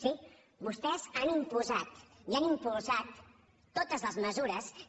sí vostès han imposat i han impulsat totes les mesures que